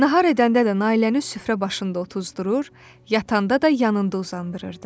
Nahar edəndə də Nailəni süfrə başında otuzdurur, yatanda da yanında uzandırırdı.